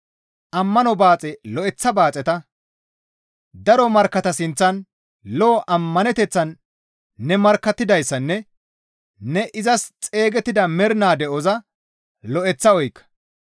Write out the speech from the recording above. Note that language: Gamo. Ammano baaxe lo7eththa baaxeta; daro markkatta sinththan lo7o ammaneteththan ne markkattidayssanne ne izas xeygettida mernaa de7oza lo7eththa oykka.